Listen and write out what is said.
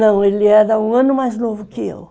Não, ele era um ano mais novo que eu.